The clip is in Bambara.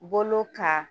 Bolo ka